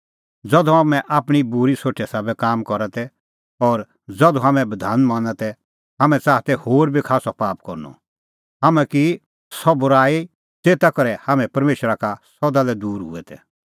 ज़धू हाम्हैं आपणीं बूरी सोठे साबै काम करा तै और ज़धू हाम्हैं बधान मना तै हाम्हैं च़ाहा तै होर बी खास्सअ पाप करनअ हाम्हैं की सह बूराई ज़ेता करै हाम्हैं परमेशरा का सदा लै दूर हुऐ तै